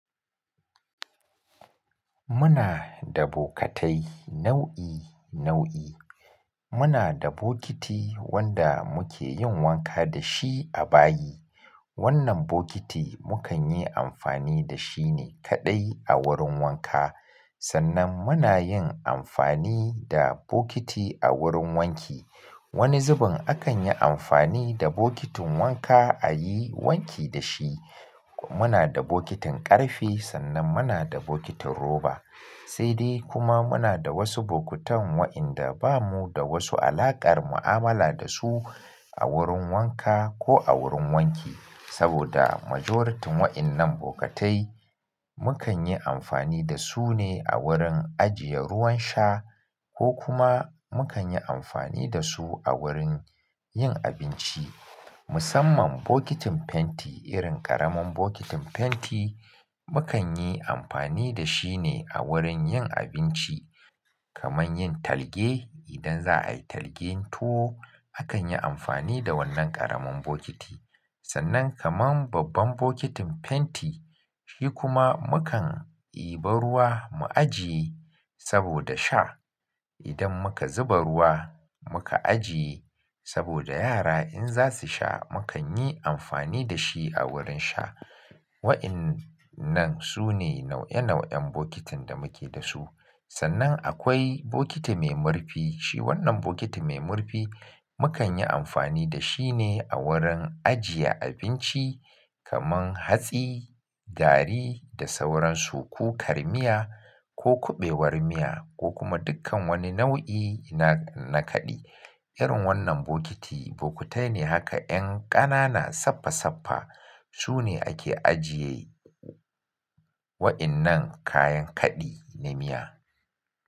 Muna da bokatai nau'i nau'i. Muna da bokiti wanda muke yin wanka da shi a bayi. Wannan bokiti mu kan yi amfani da shi ne kaɗai a wurin wanka. Sannan muna yin amfani da bokiti a wurin wanki. Wani zubin akan yi amfani da bokitin wanka a yi wanki da shi. Muna da bokitin ƙarfe sannan muna da bokitin roba. Sai dai kuma muna da wasu bokutan waɗanda ba mu da wasu alaƙar mu'amala da su a wurin wanka ko a wurin wanki. Saboda majority waɗannan bukatai mu kan yi amfani da su ne a wurin ajiye ruwan sha ko kuma mu kan yi amfani da su a wurin yin abinci. Musamman bokitin fenti irin ƙaramin bokitin fenti mu kan yi amfani da shi ne a wurin yin abinci kamar yin talge. Idan za a yi talgen tuwo, akan yi amfani da wannan ƙaramin bokiti. Sannan kamar babban bokitin fenti, shi kuma mu kan i ba ruwa mu ajiye saboda sha. Idan muka zuba ruwa muka ajiye saboda yara in za su sha mu kan yi amfani da shi a wurin sha. Waɗannan su ne nau'e nau'en bokitin da muke da su. Sannan akwai bokiti mai murfi. Shi wannan bokiti mai murfi mu kan yi amfani da shi ne a wurin ajiye abinci kamar hatsi, garri da sauran su ko karmiya ko kuɓewar miya ko kuma dukkan wani nau'i na, na kaɗi. Irin wannan bokiti, bokitai ne haka 'yan ƙanana saffa saffa. Su ne ake ajiye waɗannan kayan kaɗi na miya.